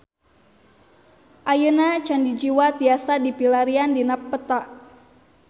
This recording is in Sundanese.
Ayeuna Candi Jiwa tiasa dipilarian dina peta